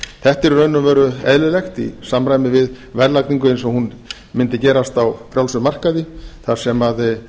þetta er í raun og veru eðlilegt í samræmi við verðlagningu eins og hún mundi gerast á frjálsum markaði þar sem